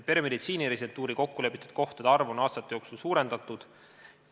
Peremeditsiini residentuuri kokkulepitud kohtade arvu on aastate jooksul suurendatud.